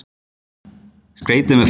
Skreytið með ferskum berjum.